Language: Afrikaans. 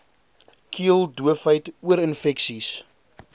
keel doofheid oorinfeksies